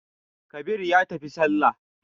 Kabir ya tafi sallah.